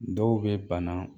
Dɔw be bana